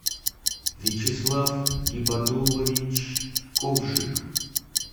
вячеслав гибадуллович ковжик